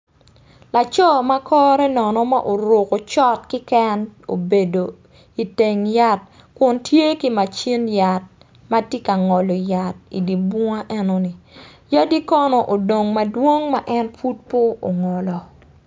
Laco ma kore nono ma oruko short keken obedo iteng yat kun tye ki macin yat ma tye ka ngolo yat idye bunga enoni yadi kono odong madwong ma en pud pe ongolo.